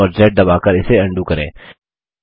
CTRL और Z दबाकर इसे अन्डू करें